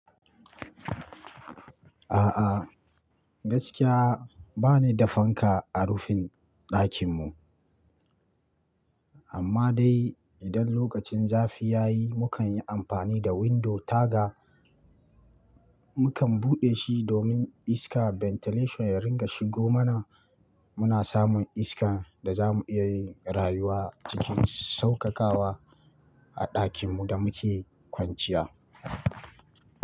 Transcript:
A'a, gaskiya ba ni da fanka a rufin ɗakin mu. Amma dai idan lokacin zafi ya yi, mukan yi amfani da window taga. Mukan buɗe shi domin iska ventilation ya ringa shigo mana. Muna samun iskan da za mu iya rayuwa cikin saukakawa a ɗakinmu da muke kwanciya.